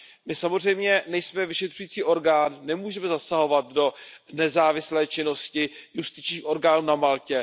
My samozřejmě nejsme vyšetřující orgán, nemůžeme zasahovat do nezávislé činnosti justičních orgánů na Maltě.